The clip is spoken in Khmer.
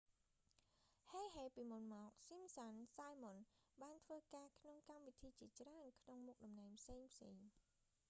heheពី​មុន​មក​ simpsons simon បានធ្វើការក្នុង​កម្មវិធីជាច្រើន​ក្នុងមុខតំណែងផ្សេងៗ។